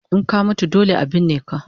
In ka mutu dole a burne ka